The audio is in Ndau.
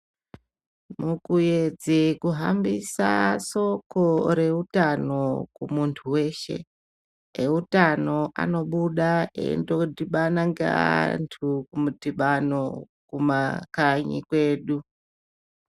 Mukuedze kuhambisa soko reutano kumuntu weshe eutano anobuda endodhibana neantu kumudhibano kumakanyi kwedu.